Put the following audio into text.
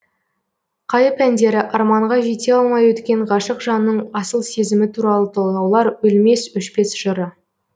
қайып әндері арманға жете алмай өткен ғашық жанның асыл сезімі туралы толғаулар өлмес өшпес жыры